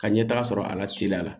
Ka ɲɛtaga sɔrɔ a la teliya la